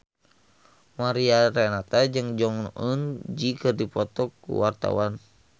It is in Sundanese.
Mariana Renata jeung Jong Eun Ji keur dipoto ku wartawan